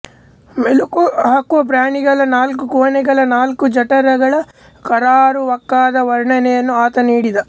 ಮೆಲುಕು ಹಾಕುವ ಪ್ರಾಣಿಗಳ ನಾಲ್ಕುಕೋಣೆಗಳ ನಾಲ್ಕುಜಠರಗಳ ಕರಾರುವಾಕ್ಕಾದ ವರ್ಣನೆಯನ್ನು ಆತ ನೀಡಿದ